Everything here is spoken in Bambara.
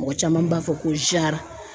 Mɔgɔ caman b'a fɔ ko jara.